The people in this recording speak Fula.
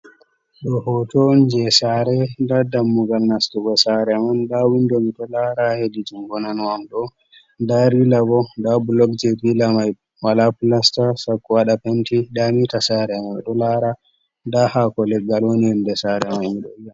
Ɗo hoto on je sare, nda dammugal nastugo sare man, nda windo miɗo lara hedi jungo nano am ɗo, nda rila bo, nda bulog je rila mai wala plasta sako waɗa penti, nda mita sare mai ɗo lara, nda hako legal woni nder sare mai miɗo lara.